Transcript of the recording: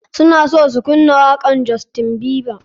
Suna so su kunna wakan justien bieber.